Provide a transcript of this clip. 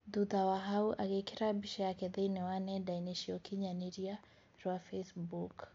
Thutha wa hau agĩkĩra mbica yakw thĩĩni wa nenda-inĩ cia ũkinyanĩria rwa Facebook